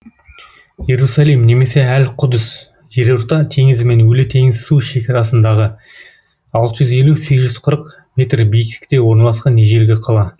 иерусалим немесе әл құдыс жерорта теңізі мен өлі теңіз су шекарасындағы алты жүз елу сегіз жүз қырық метр биіктікте орналасқан ежелгі қала